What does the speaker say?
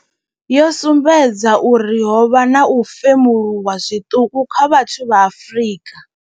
Yo sumbedza uri ho vha na u femuluwa zwiṱuku kha vhathu vha Afrika.